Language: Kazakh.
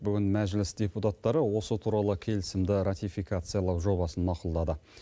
бүгін мәжіліс депутаттары осы туралы келісімді ратификациялау жобасын мақұлдады